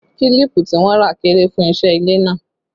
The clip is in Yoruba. Kílípù tí wọ́n rà kéré fún iṣẹ́ ilé náà